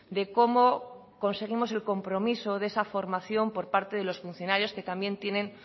de cómo conseguimos el compromiso de esa formación por parte de los funcionarios que también tienen